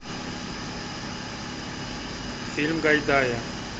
фильм гайдая